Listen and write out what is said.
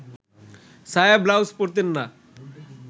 সায়া-ব্লাউজ পরতেন না